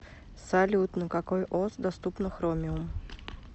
салют на какой ос доступно хромиум